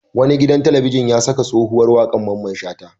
Wani gidan talabijin ya saka tsohuwar waƙar Mamman Shata.